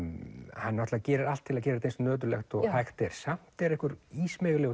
hann náttúrulega gerir allt til að gera þetta eins nöturlegt og hægt er samt er einhver